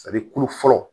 kolo fɔlɔ